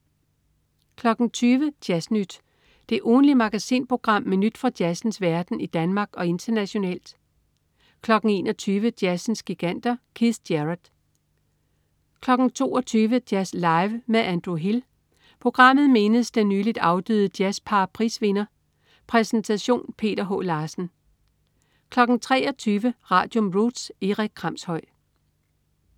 20.00 Jazz Nyt. Det ugentlige magasinprogram med nyt fra jazzens verden i Danmark og internationalt 21.00 Jazzens giganter. Keith Jarrett 22.00 Jazz Live med Andrew Hill. Programmet mindes den nyligt afdøde JazzPar-prisvinder. Præsentation: Peter H. Larsen 23.00 Radium. Roots. Erik Kramshøj